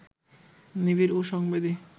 নিবিড় ও সংবেদী